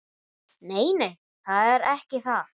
Nei, nei, það er ekki það.